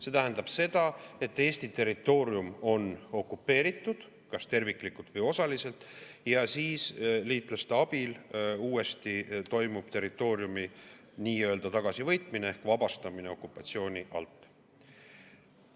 See tähendab seda, et Eesti territoorium on okupeeritud kas terviklikult või osaliselt ja siis liitlaste abil toimub territooriumi nii-öelda tagasivõitmine ehk vabastamine okupatsiooni alt.